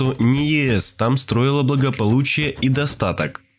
не ест там строила благополучие и достаток